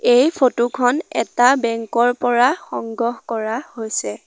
এই ফটো খন এটা বেংক ৰ পৰা সংগ্ৰহ কৰা হৈছে।